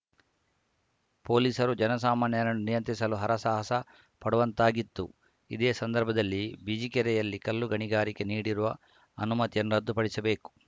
ಪೋಲೀಸರು ಜನಸಾಮಾನ್ಯರನ್ನು ನಿಯಂತ್ರಿಸಲು ಹರ ಸಾಹಸ ಪಡುವಂತಾಗಿತ್ತು ಇದೇ ಸಂದರ್ಭದಲ್ಲಿ ಬಿಜಿಕೆರೆಯಲ್ಲಿ ಕಲ್ಲು ಗಣಿಗಾರಿಕೆಗೆ ನೀಡಿರುವ ಅನುಮತಿಯನ್ನು ರದ್ದು ಪಡಿಸಬೇಕು